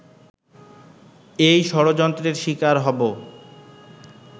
এই ষড়যন্ত্রের শিকার হবো